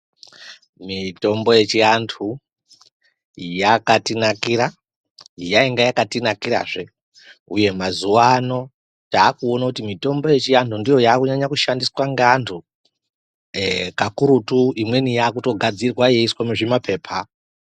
Mitombo yechianthu yakatinakira yainga yakatinakirazve uye mazuwaano taakuona kuti mitombo yechianthu ndiyo yakunyanya kushandiswa ngeanthu kakurutu imweni yaakutogadzirwa yeiiswe muzvimapepa.